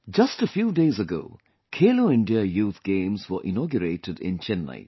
Just a few days ago, Khelo India Youth Games were inaugurated in Chennai